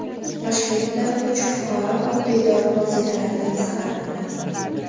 Toshkentda uch fuqaro oddiy dori vositalaridan zaharlandi.